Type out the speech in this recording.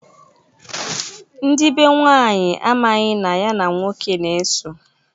Ndị be nwanyị amaghị na ya nke nwoke na-eso.